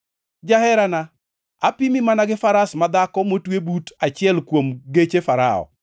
Jaherana, apimi mana gi faras madhako motwe but achiel kuom geche Farao.